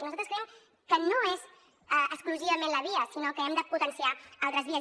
i nosaltres creiem que no és exclusivament la via sinó que hem de potenciar altres vies